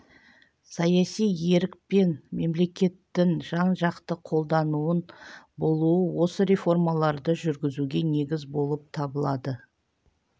саяси ерік пен мемлекеттің жан-жақты қолдауының болуы осы реформаларды жүргізуге негіз болып табылады